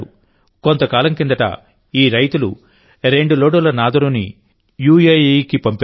కొంతకాలం కిందట ఈ రైతులు రెండులోడుల నాదరూని యుఎఇకి పంపారు